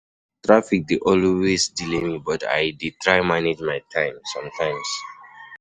Traffic dey always delay me, but I dey try manage my time somtimes.